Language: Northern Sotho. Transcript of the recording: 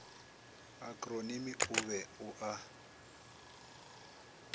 akronimi o be o a